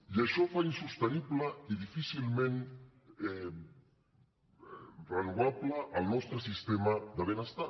i això fa insostenible i difícilment renovable el nostre sistema de benestar